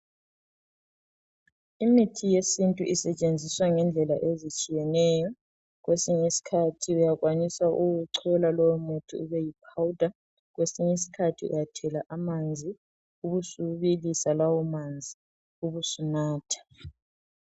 Imithi yesintu isetshenziswa ngendlela ezitshiyeneyo , kwesinye iskhathi uyakwanisa ukuwuchola lowo muthi ube yipowder , kwesinye isikhathi uyathela amanzi ube subilisa lawo Manzil ubusunatha